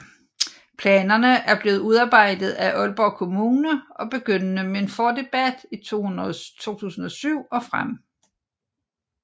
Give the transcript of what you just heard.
Planerne er blevet udarbejdet af Aalborg Kommune begyndende med en fordebat i 2007 og frem